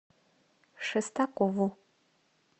шестакову